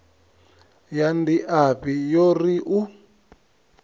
ya ndiafhi yo ri u